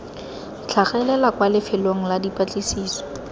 tlhagelela kwa lefelong la dipatlisiso